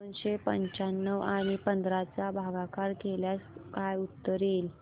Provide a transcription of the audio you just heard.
दोनशे पंच्याण्णव आणि पंधरा चा भागाकार केल्यास काय उत्तर येईल